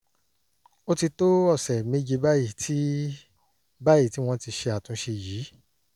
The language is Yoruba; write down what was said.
ó ti tó ọ̀sẹ̀ méje báyìí tí báyìí tí wọ́n ti ṣe àtúnṣe yìí